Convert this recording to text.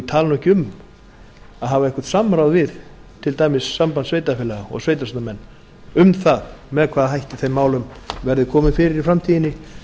tali nú ekki um að hafa eitthvert samráð við til dæmis samband sveitarfélaga og sveitarstjórnarmenn um það með hvaða hætti þeim málum verði komið fyrir í framtíðinni